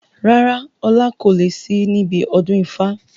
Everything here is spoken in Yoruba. Rárá, ọlá kò lè sì níbi ọdún ifá.